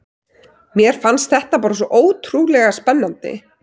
Mér fannst þetta bara svo ótrúlega spennandi.